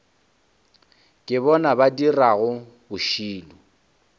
ke bona ba dirago bošilo